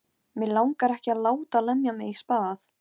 Friðgeir, hvernig verður veðrið á morgun?